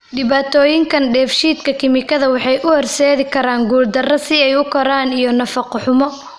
Dhibaatooyinkan dheef-shiid kiimikaad waxay u horseedi karaan guuldarada si ay u koraan iyo nafaqo-xumo.